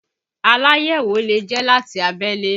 Aláyẹ̀wò lè jẹ́ láti abẹ́lé